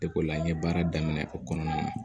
Depila n ye baara daminɛ o kɔnɔna na